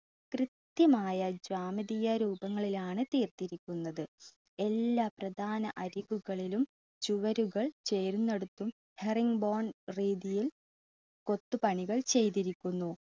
കൃത്യമായ ജ്യാമിതീയ രൂപങ്ങളിലാണ് തീർത്തിരിക്കുന്നത്. എല്ലാ പ്രദാന അരികുകളിലും ചുവരുകൾ ചേരുന്നിടത്തും രീതിയിൽ കൊത്തുപണികൾ ചെയ്തിരിക്കുന്നു.